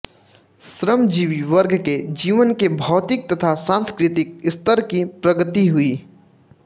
श्रमजीवी वर्ग के जीवन के भौतिक तथा सांस्कृतिक स्तर की प्रगति हुई